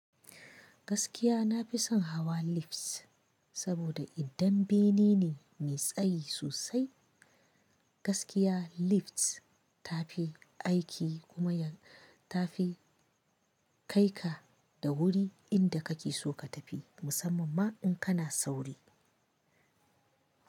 Gaskiya nafi son hawa lifts saboda idan bene ne mai tsayi sosai, gaskiya lifts ta fi aiki kuma ya tafi kai ka da wuri inda kake so ka tafi, musamman ma in kana sauri.